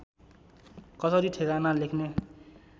कसरी ठेगाना लेख्ने